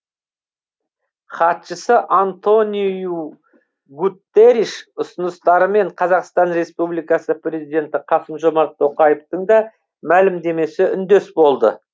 хатшысы антониу гуттериш ұсыныстарымен қазақстан республикасы президенті қасым жомарт тоқаевтың да мәлімдемесі үндес болды